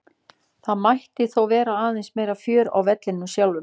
Það mætti þó vera aðeins meira fjör á vellinum sjálfum.